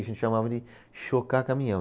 A gente chamava de chocar caminhão.